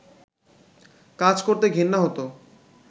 কাজ করতে ঘেন্না হতো